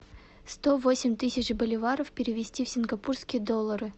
сто восемь тысяч боливаров перевести в сингапурские доллары